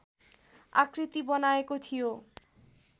आकृती बनाएको थियो